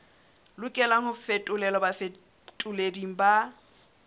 lokelang ho fetolelwa bafetoleding ba